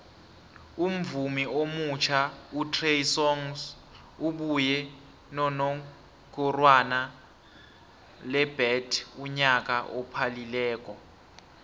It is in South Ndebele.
umvumi omutjha utrey songs ubuye nonomgorwana lebet unyaka ophalileko